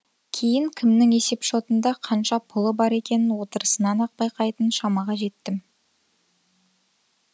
кейін кімнің есепшотында қанша пұлы бар екенін отырысынан ақ байқайтын шамаға жеттім